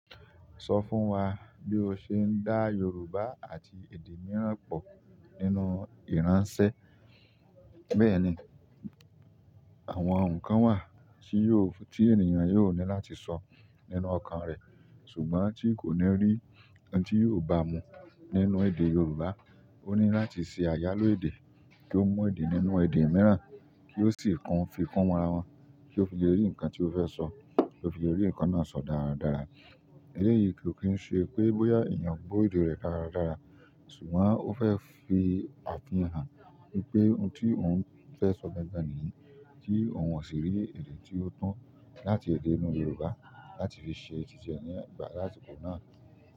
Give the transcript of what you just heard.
Sọ fún wa bí o ṣe ń dá Yorùbá àti èdè mìíràn pọ̀ nínú ìránṣẹ́. Bẹ́ẹ̀ni, àwọn nǹkan wà tí ènìyàn yóò ní láti sọ nínú ọkàn rẹ̀, ṣùgbọ́n tí kò ní rí ohun tí yóò bá mú nínú èdè Yorùbá, ó ní láti ṣe àyálò èdè kí ó mu èdè nínú èdè mìíràn kí ó sì fi kun fi kun ara wọn kí ó fi le rí nǹkan tí ó fẹ́ sọ kí ó fi le rí nǹkan náà sọ dáradára. Eléyìí kò kí ń ṣe pé bóyá ènìyàn gbọ́ èdè rẹ̀ dáradára, ṣùgbọ́n ó fẹ́ fi àfihàn wípé ohun tí òun fẹ́ sọ gangan nìyí tí òun ò sì rí èdè tí ó tọ láti èdè inú Yorùbá láti fi ṣe titiẹ nígbà lásìkò náà.